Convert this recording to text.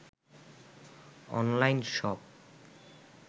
online shop